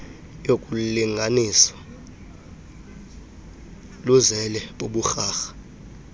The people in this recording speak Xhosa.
yokulingaaniswa luzele buburharha